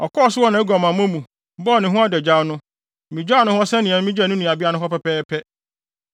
Ɔkɔɔ so wɔ nʼaguamammɔ mu, bɔɔ ne ho adagyaw no, migyaw no hɔ sɛnea migyaw ne nuabea no hɔ pɛpɛɛpɛ.